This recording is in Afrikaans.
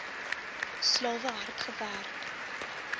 slawe hard gewerk